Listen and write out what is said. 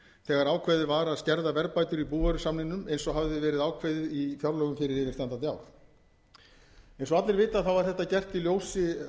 þegar ákveðið var að skerða verðbætur í búvörusamningnum eins og hafði verið ákveðið í fjárlögum fyrir yfirstandandi ár eins og allir vita er þetta gert í ljósi